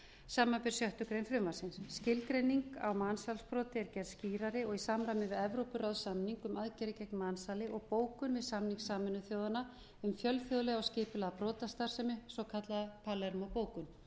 samanber sjöttu greinar frumvarpsins skilgreining á mansalsbroti er gerð skýrari og í samræmi við evrópuráðssamning um aðgerðir gegn mansali og bókun við samning sameinuðu þjóðanna um fjölþjóðlega skipulagða brotastarfsemi svokallaða palermó bókun